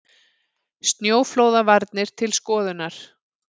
Snjóflóðavarnir til skoðunar